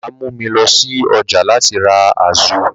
Bàbá mú mi lọ sí ọjà láti ra azu.